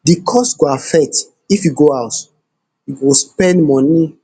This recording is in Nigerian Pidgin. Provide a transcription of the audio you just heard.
di cost go affect if you go house you go spend moni